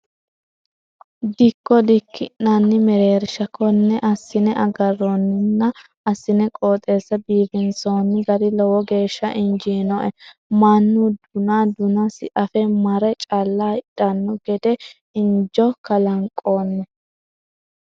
Dikko diki'nanni mereersha kone assine agaroninna assine qooxeessa biifinsonni gari lowo geeshsha injinoe mannu duna dunasi afe marre calla hidhano gede injo kalanqonni.